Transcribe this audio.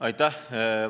Aitäh!